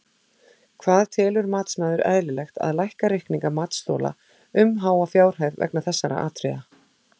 Hvað telur matsmaður eðlilegt að lækka reikninga matsþola um háa fjárhæð vegna þessara atriða?